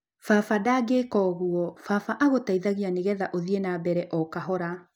Baba ndangika ũguo, baba agũteithagia nĩgetha ũthiĩ na mbere okahora.